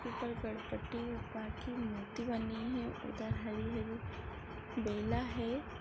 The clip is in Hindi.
ऊपर गणपती बाप्पा की मूर्ति बनी है उधर हरी-हरी बेला है।